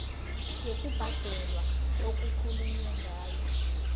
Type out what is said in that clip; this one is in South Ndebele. yokubhadela okukhulunywe ngayo